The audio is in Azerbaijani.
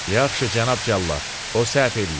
Yaxşı, cənab cəllad, o səhv eləyib.